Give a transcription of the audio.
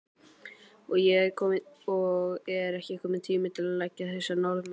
Og er ekki kominn tími til að leggja þessa Norðmenn?